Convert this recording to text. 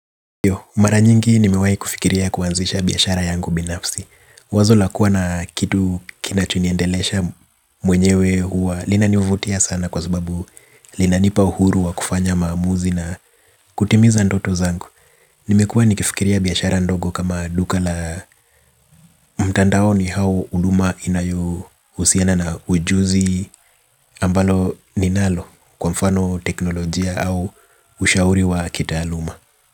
Mara nyingi nimewahi kufikiria kuanzisha biashara yangu binafsi. Wazo la kuwa na kitu kinachoniendelesha mwenyewe huwa linanivutia sana kwa sababu linanipa uhuru wa kufanya maamuzi na kutimiza ndoto zangu. Nimekua nikifikiria biashara ndogo kama duka la mtandaoni au huduma inayohusiana na ujuzi ambalo ninalo kwa mfano teknolojia au ushauri wa kitaaluma.